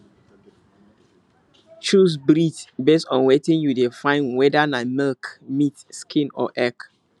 choose breed based on wetin you dey findwhether na milk meat skin or egg